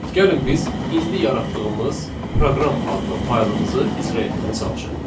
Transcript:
Gəlin biz indi yaratdığımız proqram adlı faylımızı icra etməyə çalışaq.